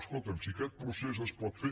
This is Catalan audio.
escolta’m si aquest procés es pot fer